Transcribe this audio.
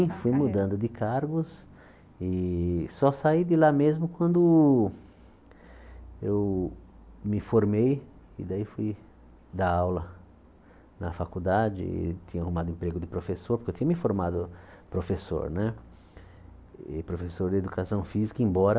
fui mudando de cargos e só saí de lá mesmo quando eu me formei e daí fui dar aula na faculdade e tinha arrumado emprego de professor, porque eu tinha me formado professor né e professor de educação física, embora